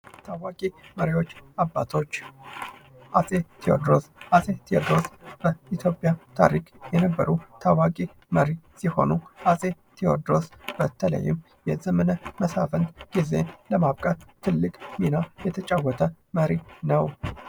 ታዋቂ መሪዎችና አባቶች ፡-አፄ ቴውድሮስ በኢትዮጵያ ከሚታወቁ አባቶች የሚመደብ ነው ።ይህም የዘመነ መሳፍንትን ጊዜ ለማብቃት ትልቅ አስተዋፅኦ አለው።